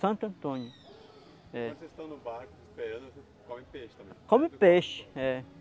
Antônio é. Quando vocês estão no barco esperando, vocês comem peixe também? Come peixe, é.